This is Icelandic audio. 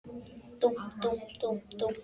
Dúmp, dúmp, dúmp, dúmp.